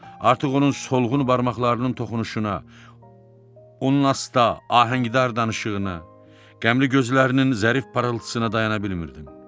Artıq onun solğun barmaqlarının toxunuşuna, onun asta ahəngdar danışığına, qəmli gözlərinin zərif parıltısına dayana bilmirdim.